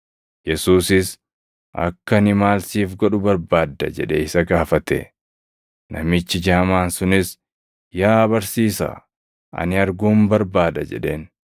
Yesuusis, “Akka ani maal siif godhu barbaadda?” jedhee isa gaafate. Namichi jaamaan sunis, “Yaa barsiisaa, ani arguun barbaada” jedheen.